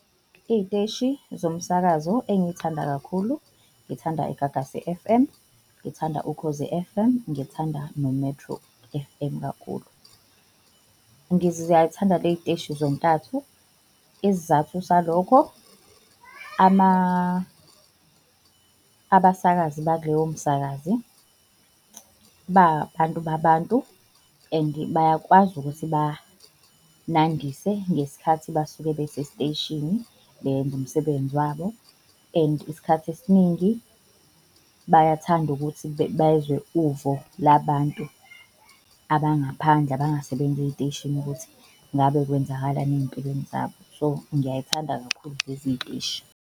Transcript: Iy'teshi zomsakazo engiyithanda kakhulu, ngithanda iGagasi F_M, ngithanda Ukhozi F_M, ngithanda no-Metro F_M kakhulu. ley'teshi zontathu. Isizathu salokho, abasakazi bakuloyo msakazi ba abantu babantu and bakwazi ukuthi banandise ngesikhathi basuke besesiteshini beyenza umsebenzi wabo. And isikhathi esiningi bayathanda ukuthi bezwe uvo labantu abangaphandle abangasebenzi ey'teshini ukuthi ngabe kwenzakalani ey'mpilweni zabo. So, ngiyayithanda kakhulu lezi y'teshi.